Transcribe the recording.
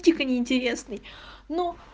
дико неинтересный но